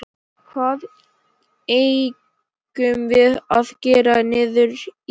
Hvað eigum við að gera niðri í bæ?